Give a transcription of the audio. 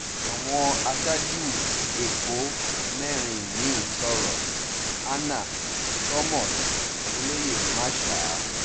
àwọn aṣáájú ẹ̀kọ́ mẹ́rin mi-ín sọ̀rọ̀ hannah thomas olóyè masha t